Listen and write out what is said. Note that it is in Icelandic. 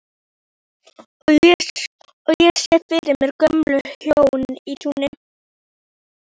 Og ég sé fyrir mér gömul hjón í túni.